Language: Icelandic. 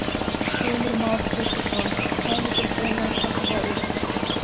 Heimir Már Pétursson: Kæmi til greina að taka það upp?